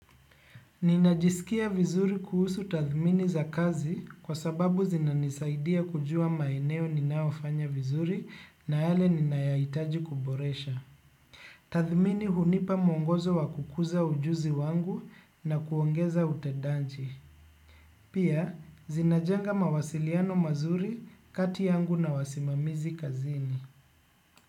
Ninajisikia vizuri kuhusu tathmini za kazi kwa sababu zinanisaidia kujua maeneo ninayofanya vizuri na yale ninayoyahitaji kuboresha. Tathmini hunipa mwongozo wa kukuza ujuzi wangu na kuongeza utedanji. Pia, zinajenga mawasiliano mazuri kati yangu na wasimamizi kazini.